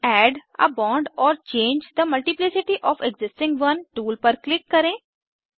add a bond or change the multiplicity of existing one tool पर click करें